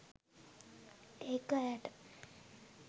ඒක ඈට